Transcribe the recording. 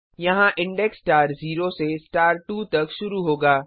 यहाँ index star 0 से star 2 तक शुरू होगा